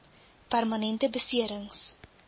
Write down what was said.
permanente besering s